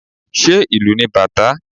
Ṣé ìlù ni bàtá?